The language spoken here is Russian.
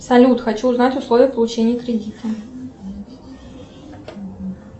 салют хочу узнать условия получения кредита